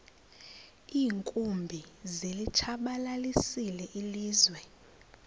iinkumbi zilitshabalalisile ilizwe